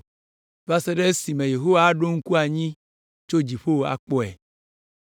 va se ɖe esime Yehowa aɖo ŋku anyi tso dziƒo akpɔe.